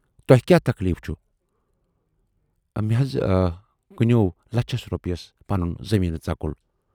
تۄہہِ کیاہ تکلیٖف چھُ؟ مےٚ حض کٕنٮ۪وو لچھس رۅپیس پنُن زمیٖنہٕ ژکُل۔